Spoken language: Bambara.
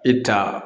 E ta